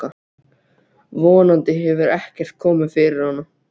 Von andi hefur ekkert komið fyrir hana.